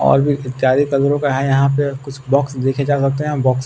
और भी इत्यादि कलरों का है यहां पे और कुछ बॉक्स देखे जा सकते हैं बॉक्स --